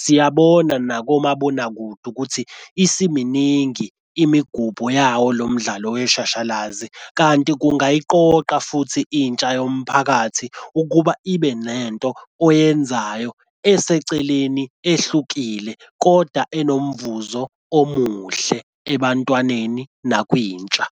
Siyabona nakomabonakude ukuthi isiminingi imigubho yawo lo mdlalo weshashalazi. Kanti kungayiqoqa futhi intsha yomphakathi ukuba ibe nento oyenzayo eseceleni ehlukile, kodwa enomvuzo omuhle ebantwaneni nakwintsha.